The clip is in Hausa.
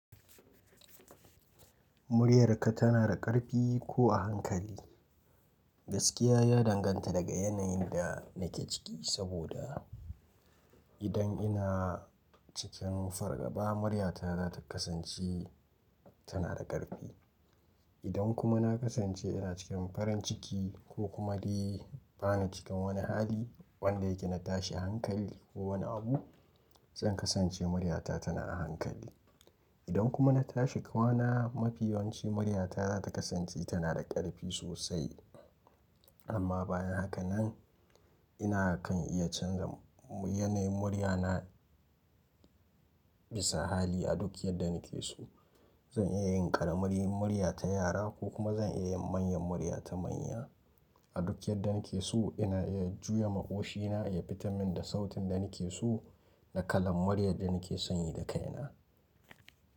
Muryarka tana da ƙarfi ko a hankali? Gaskiya ya danganta daga yanayin da nake ciki, saboda idan ina cikin fargaba muryata za ta kasance tana da ƙarfi. Idan kuma na kasance ina cikin farin ciki ko kuma dai bana cikin wani hali wanda yake na tashi hankali ko wani abu, zan kasance muryata tana a hankali. Idan kuma na tashi kwana mafiyawanci muryata za ta kasance tana da ƙarfi sosai. Amma bayan haka nan ina kan iya canza yanayin muryana bisa hali a duk yadda nake so. Zan iya yin ƙaramar murya ta yara ko kuma zan iya yin manyan murya ta manya. A duk yadda nake so ina iya juya maƙoshina ya fitar min da sautin da nake so da kalan muryar da nake son yi da kaina.